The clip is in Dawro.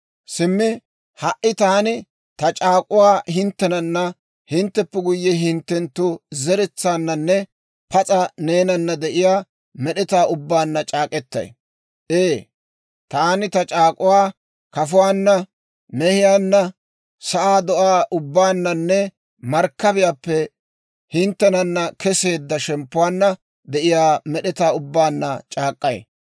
«Simmi ha"i, taani ta c'aak'uwaa hinttenana, hintteppe guyye hinttenttu zeretsaannanne pas'a neenana de'iyaa med'etaa ubbaanna c'aak'k'etay; ee, taani ta c'aak'k'uwaa kafuwaanna, mehiyaanna, sa'aa do'aa ubbaananne, markkabiyaappe hinttenana keseedda, shemppuwaanna de'iyaa med'etaa ubbaanna c'aak'k'ay.